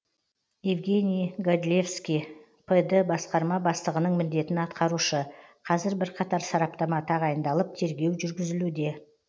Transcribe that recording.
евгений годлевский пд басқарма бастығының міндетін атқарушы қазір бірқатар сараптама тағайындалып тергеу жүргізілуде